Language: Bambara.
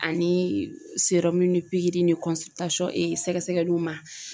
Ani serɔmu ni pigiri ni kɔnsilitasɔn e sɛgɛsɛgɛliuw ma